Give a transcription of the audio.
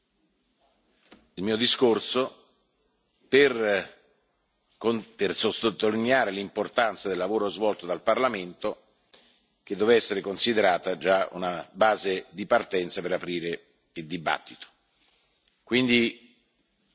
dopo il mio discorso, per sottolineare l'importanza del lavoro svolto dal Parlamento, che deve essere considerato già una base di partenza per aprire il dibattito.